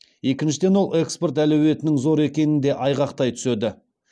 екіншіден ол экспорт әлеуетінің зор екенін де айғақтай түседі